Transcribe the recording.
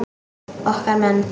Okkar menn